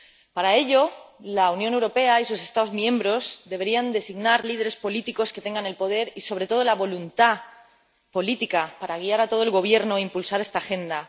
Para ello, la Unión Europea y sus Estados miembros deberían designar líderes políticos que tengan poder y, sobre todo, voluntad política para guiar a todo el gobierno e impulsar esta agenda